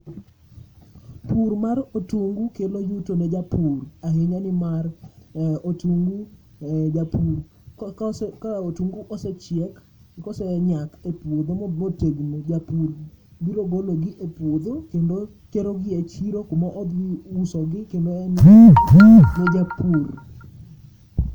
Pur mar otungu kelo yuto ne japur ahinya nimar eh otungu eh japur, kose ka otungu osechiek, kosenyak e puodho motegno japur biro gologi e puodho kendo terogi e chiro kumodhi usogi kendo en e japur.